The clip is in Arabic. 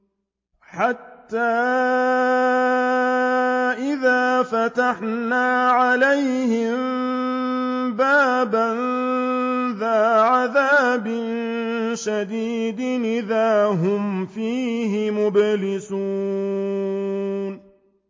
حَتَّىٰ إِذَا فَتَحْنَا عَلَيْهِم بَابًا ذَا عَذَابٍ شَدِيدٍ إِذَا هُمْ فِيهِ مُبْلِسُونَ